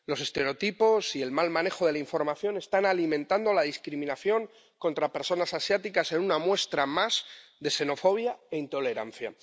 Los estereotipos y el mal manejo de la información están alimentando la discriminación contra personas asiáticas, en una muestra más de xenofobia e intolerancia.